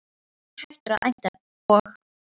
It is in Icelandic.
Kári var hættur að æmta og